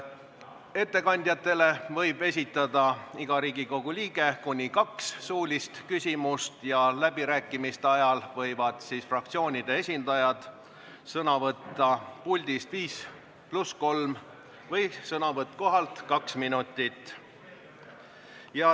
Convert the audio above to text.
Ettekandjatele võib iga Riigikogu liige esitada kuni kaks suulist küsimust ja läbirääkimiste ajal võivad fraktsioonide esindajad sõna võtta puldis viis pluss kolm minutit või kohalt kaks minutit.